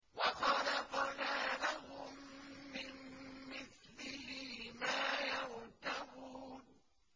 وَخَلَقْنَا لَهُم مِّن مِّثْلِهِ مَا يَرْكَبُونَ